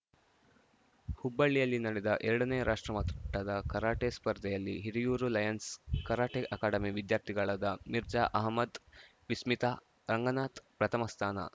ಹುಬ್ಬಳ್ಳಿಯಲ್ಲಿ ನಡೆದ ಎರಡನೇ ರಾಷ್ಟ್ರಮಟ್ಟದ ಕರಾಟೆ ಸ್ಪರ್ಧೆಯಲ್ಲಿ Hiriyur Lions karate academy ವಿದ್ಯಾರ್ಥಿಗಳಾದ Mirza ಅಹಮ್ಮದ್‌ವಿಸ್ಮಿತಾ Ranganath ಪ್ರಥಮ ಸ್ಥಾನ